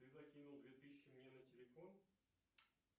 ты закинул две тысячи мне на телефон